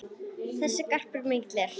Þessi garpur mikill er.